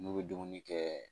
N'u bɛ dumuni kɛ